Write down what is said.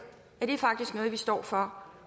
at det faktisk er noget vi står for